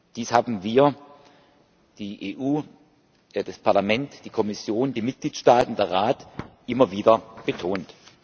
Dies haben wir die EU, das Parlament, die Kommission, die Mitgliedstaaten und der Rat immer wieder betont.